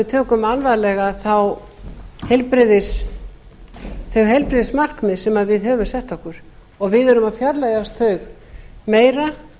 tökum alvarlega þau heilbrigðismarkmið sem við höfum sett okkur og við erum að fjarlægjast þau meira